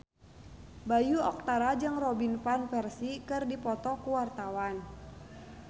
Bayu Octara jeung Robin Van Persie keur dipoto ku wartawan